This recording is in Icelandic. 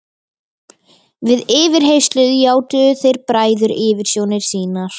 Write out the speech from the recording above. Við yfirheyrslur játuðu þeir bræður yfirsjónir sínar.